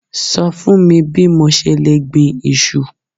Sọ fún mi bí mo ṣe lè gbin iṣu.